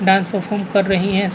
dance perform कर रही है स --